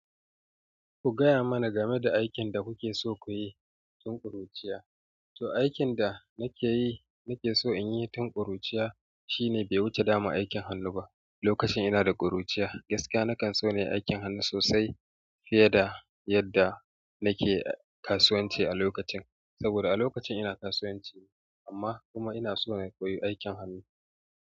Ku gaya mana game da aikin da kuke so ku yi tun ƙuruciya. To, aikin da nake yi, nake so in yi tun ƙuruciya shine daman bai wuce damu aikin hannu ba. Lokacin ina da ƙuruciya gaskiya nakan so na yi aikin hannu sosai fiye da yadda nake kasuwanci a lokacin. Saboda a lokacin ina kasuwanci amma kuma ina so na koyi aikin hannu.